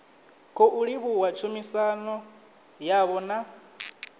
khou livhuwa tshumisano yavho na